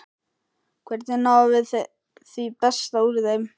Hvernig náum við því besta úr þeim?